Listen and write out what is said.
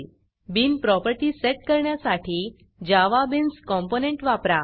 bin Propertyबीन property set करण्यासाठी Java beans component वापरा